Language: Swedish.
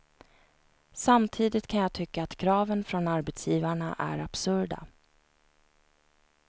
Samtidigt kan jag tycka att kraven från arbetsgivarna är absurda.